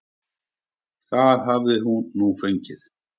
Það hafi hún nú fengið.